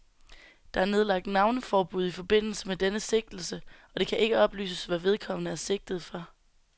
Der er nedlagt navneforbud i forbindelse med denne sigtelse, og det kan ikke oplyses, hvad vedkommende er sigtet for.